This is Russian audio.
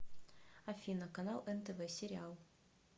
афина канал нтв сериал